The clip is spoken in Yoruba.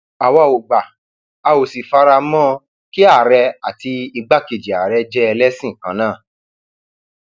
àwa ò gbà a ò sì fara mọ kí àárẹ àti igbákejì ààrẹ jẹ ẹlẹsìn kan náà